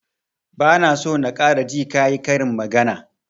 Ba na so na ƙara ji ka yi karin magana!